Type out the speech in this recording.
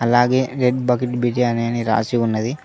అలాగే red bucket biryani రాసి ఉన్నది.